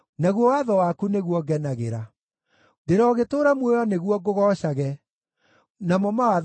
Ndĩrogĩtũũra muoyo nĩguo ngũgoocage, namo mawatho maku nĩmatũũre mandeithagia.